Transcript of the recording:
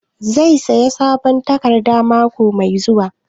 Zai sayi sabon tarakta mako mai zuwa?